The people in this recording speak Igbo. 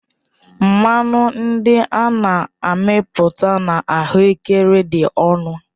Mmanụ ndị a na-amịpụta na ahuekere dị ọnụ